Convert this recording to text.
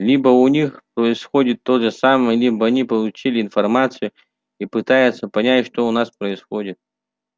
либо у них происходит то же самое либо они получили информацию и пытаются понять что у нас происходит